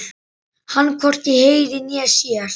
Hann hvorki heyrir né sér.